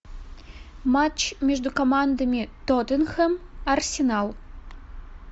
матч между командами тоттенхэм арсенал